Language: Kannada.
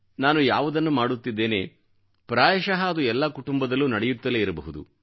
ನಾನು ಯಾವುದನ್ನು ಮಾಡುತ್ತಿದ್ದೇನೆ ಪ್ರಾಯಶಃ ಅದು ಎಲ್ಲಾ ಕುಟುಂಬದಲ್ಲೂ ನಡೆಯುತ್ತಲೇ ಇರಬಹುದು